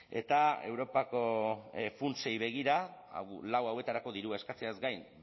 eta europako funtsei begira lau hauetarako dirua eskatzeaz gain